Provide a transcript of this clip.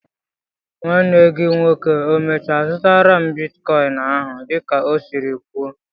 Nwanne gị nwoke e mèchàrà zụtaru m bịtkọin áhù dị ka ọ siri kwuó?